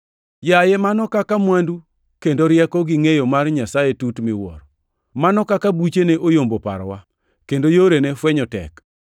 Yaye mano kaka mwandu kendo rieko gi ngʼeyo mar Nyasaye tut miwuoro! Mano kaka buchene oyombo parowa, kendo yorene fwenyo tek!